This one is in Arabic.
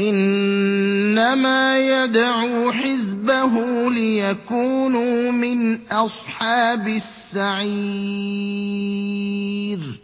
إِنَّمَا يَدْعُو حِزْبَهُ لِيَكُونُوا مِنْ أَصْحَابِ السَّعِيرِ